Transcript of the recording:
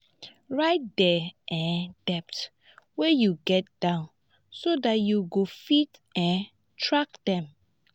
write di um debts wey you get down so dat you go fit um track dem